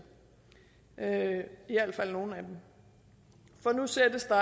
i alt fald nogle af dem for nu sættes der